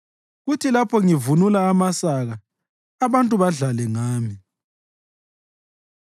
kuthi lapho ngivunula amasaka abantu badlale ngami.